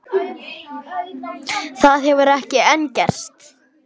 Það hefur ekki enn gerst.